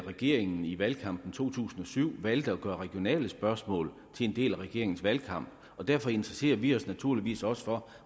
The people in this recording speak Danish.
regeringen i valgkampen to tusind og syv valgte at gøre regionale spørgsmål til en del af regeringens valgkamp og derfor interesserer vi os naturligvis også for